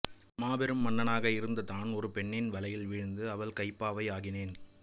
மாபெரும் மன்னனாக இருந்த தான் ஒரு பெண்ணின் வலையில் வீழ்ந்து அவள் கைப்பாவை ஆகினேன்